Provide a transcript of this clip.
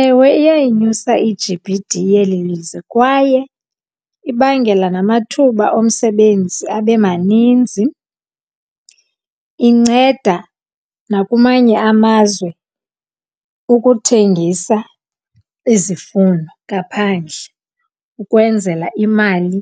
Ewe, iyayinyusa i-G_B_D yeli lizwe kwaye ibangela namathuba omsebenzi abe maninzi. Inceda nakumanye amazwe ukuthengisa izifuno ngaphandle ukwenzela imali